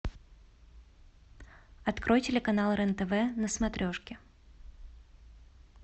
открой телеканал рен тв на смотрешке